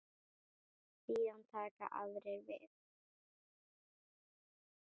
Síðan taka aðrir við.